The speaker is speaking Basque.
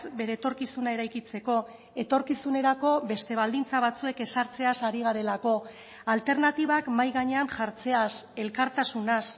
bere etorkizuna eraikitzeko etorkizunerako beste baldintza batzuek ezartzeaz ari garelako alternatibak mahai gainean jartzeaz elkartasunaz